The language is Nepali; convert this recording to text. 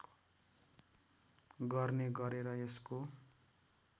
गर्ने गरेर यसको